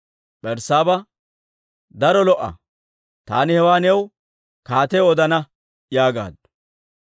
Berssaaba, «Daro lo"a; taani hewaa nediraa kaatiyaw odana» yaagaaddu.